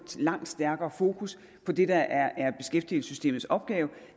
langt stærkere fokus på det der er beskæftigelsessystemets opgave